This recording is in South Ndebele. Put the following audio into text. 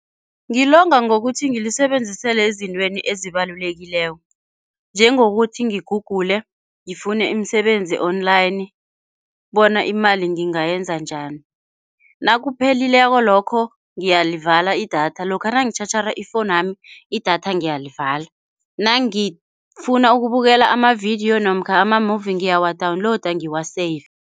Ngilonga ngokuthi ngilisebenzisele ezintweni ezibalulekileko, njengokuthi ngigugule ngifune imisebenzi online bona imali ngingayenza njani. Nakuphelileko lokho ngiyalivala idatha. Lokha nangitjhatjhara ifowunu yami, idatha ngiyalivala. Nangifuna ukubukela amavidiyo namkha ama-movie ngiyawadawunilowuda ngiwaseyive.